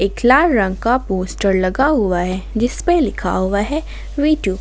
एक लाल रंग का पोस्टर लगा हुआ है जिसपे लिखा हुआ है वी टू ।